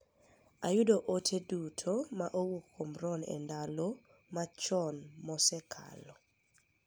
Ayudo ote duto ma owuok kuom Ron e ndal matocn mokekalo.